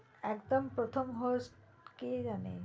একদম প্রথম host কে জানে